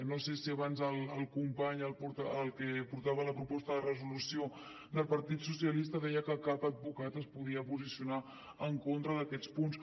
no sé si abans el company el que portava la proposta de resolució del partit socialistes deia que cap advocat es podia posar en contra d’aquests punts